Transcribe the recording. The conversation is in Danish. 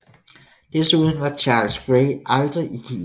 Desuden var Charles Grey aldrig i Kina